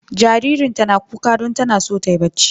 Jaririnta na kuka don tana son ta yi bacci.